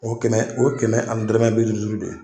O kɛmɛ o kɛmɛ ani dɔrɔmɛ bi duuru duuru de ye.